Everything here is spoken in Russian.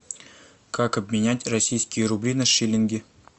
как обменять российские рубли на шиллинги